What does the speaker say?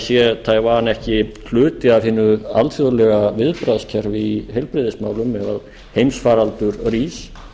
sé taiwan ekki hluti af hinu alþjóðlega viðbragðskerfi í heilbrigðismálum ef heimsfaraldur rís